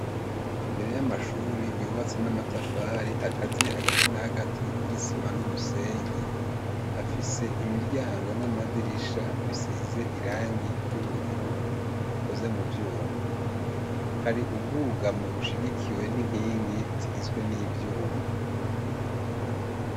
imbere y'amashuri yubatse n'amatafari akaziye hagati na hagati n'isima n'umusenyi afise imiryango n'amadirisha bisize irangi ry'ubururu bikoze mu vyuma hari ubwugamwo bushigikiwe n'inkingi zigizwe n'ivyuma